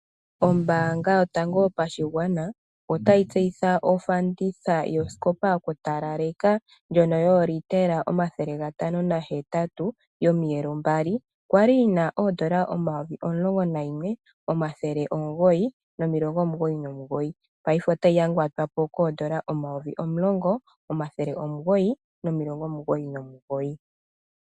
Ombaanga yotango yopashigwana otayi tseyitha ofanditha yosikopa yokutalaleka, ndjono yoolitela omathele gatano nahetatu yomiyelo mbali. Yali yina oondola omayovi omulongo nayimwe, omathele omugoyi nomilongo omugoyi nomugoyi, ngaashingeyi otayi yangatwapo koondola omayovi omulongo, omathele omugoyi nomilongo omugoyi nomugoyi.